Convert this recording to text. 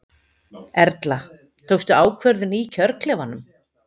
Erla: Tókstu ákvörðun í kjörklefanum?